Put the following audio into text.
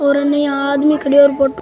और अने इया आदमी खड़ो है और फोटो --